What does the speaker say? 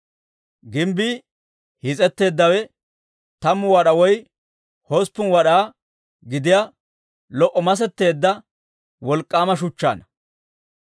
Gimbbii hiis'etteeddawe tammu wad'aa woy hosppun wad'aa gidiyaa lo"a masetteedda wolk'k'aama shuchchaanna.